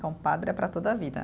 Compadre é para toda a vida.